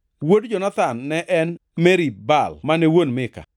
Wuod Jonathan ne en: Merib-Baal mane wuon Mika.